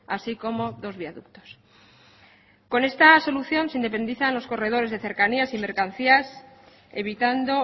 así como dos viaductos con esta solución se independizan los corredores de cercanías y mercancías evitando